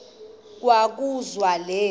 kwa kobuzwa le